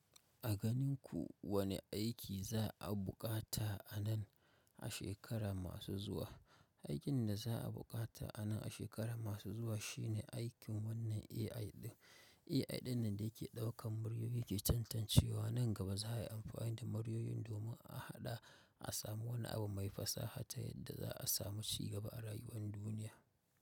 A ganin ku wane aiki za a buƙata anan a shekara masu zuwa? Aikin da za a buƙata anan a shekaru masu zuwa shine aikin wannan AI din. AI dinnan da ke ɗaukan muryoyi ke tantancewa nan gaba za a yi amfani da muryoyin domin a haɗa a samu wani abu mai fasaha ta yadda za a samu ci gaba a rayuwar duniya.